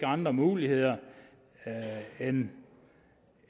andre muligheder end